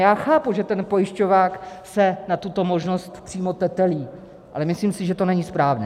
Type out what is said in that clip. Já chápu, že ten pojišťovák se na tuto možnost přímo tetelí, ale myslím si, že to není správně.